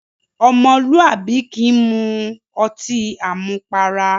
Ọmọlúwàbí kì í mu ọtí àmupara.